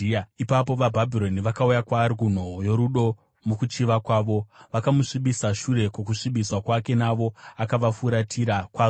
Ipapo vaBhabhironi vakauya kwaari, kunhoo yorudo, mukuchiva kwavo, vakamusvibisa. Shure kwokusvibiswa kwake navo, akavafuratira kwazvo.